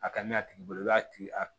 A ka ɲɛ a tigi bolo i b'a tigi